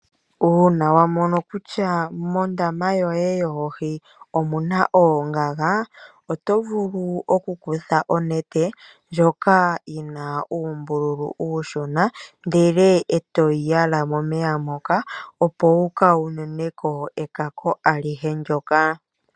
Uuna wamono kutya mondama yoye yoohii omuna ongaga, oto vulu okukutha onete ndjoka yina umbululu ushona ndele eto yi yala momeya moka opo wukawununeko ekako alihe ndoka.